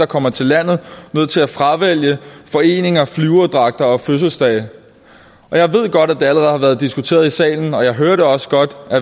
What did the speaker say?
kommer til landet nødt til at fravælge foreninger flyverdragter og fødselsdage og jeg ved godt at det allerede har været diskuteret i salen og jeg hørte også godt